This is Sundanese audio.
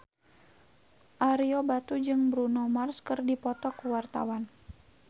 Ario Batu jeung Bruno Mars keur dipoto ku wartawan